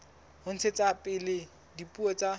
ho ntshetsa pele dipuo tsa